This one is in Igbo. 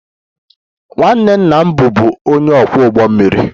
Nwanne nna m bụbu onye ọkwọ ụgbọ mmiri